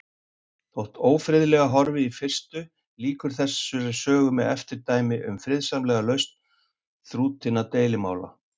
Þótt ófriðlega horfi í fyrstu, lýkur þessari sögu með eftirdæmi um friðsamlega lausn þrútinna deilumála.